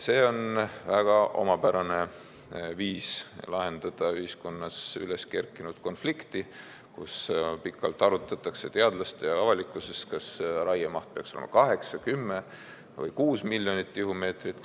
See on väga omapärane viis lahendada ühiskonnas üles kerkinud konflikti, kus pikalt arutatakse teadlastega ja avalikkusega, kas raiemaht peaks olema 8, 10 või 6 miljonit tihumeetrit.